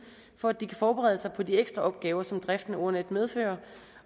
for at de kan forberede sig på de ekstra opgaver som driften af ordnetdk medfører